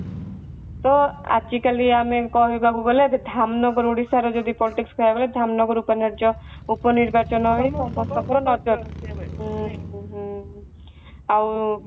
ତ ଆଜି କାଲି ଆମେ କହିବାକୁ ଗଲେ ଏବେ ଧାମନଗର ଓଡିଶାର ଯଦି politics କୁହାଗଲେ ଧାମନଗର ଉପ ନିର୍ବାଚନ ରହିବ ହୁଁ ହୁଁ ଆଉ